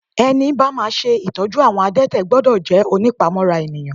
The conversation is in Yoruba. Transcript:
Ẹni bá máa ṣe ìtọ́jú àwọn adete gbọ́dọ̀ jẹ́ ònípamọ́ra ènìyàn.